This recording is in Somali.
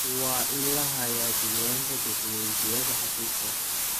Waa in la hayaa diiwaanka dukumeentiyada xafiiska.